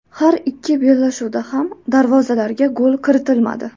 Har ikki bellashuvda ham darvozalarga gol kiritilmadi.